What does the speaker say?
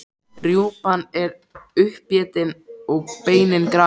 Rjúpan er uppétin og beinin grafin.